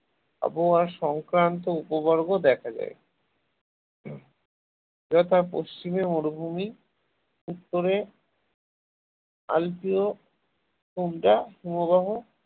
আবহাওয়া সংক্রান্ত উপবর্গ দেখা যায় তথা পশ্চিমে মরুভূমি উত্তরে আলপিও তুন্দ্রা হিমবাহ